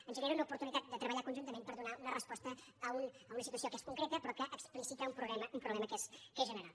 ens genera una oportunitat de treballar conjuntament per donar una resposta a una situació que és concreta però que explicita un problema que és general